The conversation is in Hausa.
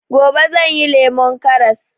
Gobe zan yi lemon karras